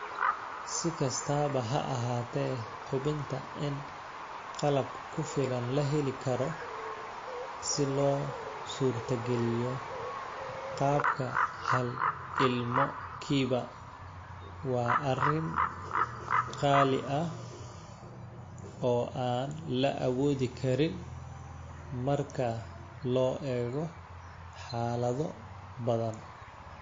Si kastaba ha ahaatee, hubinta in qalab ku filan la heli karo si loo suurtageliyo qaabka 'hal-ilmo-kiiba' waa arrin qaali ah oo aan la awoodi karin marka loo eego xaalado badan.